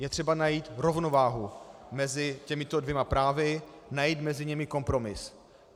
Je třeba najít rovnováhu mezi těmito dvěma právy, najít mezi nimi kompromis.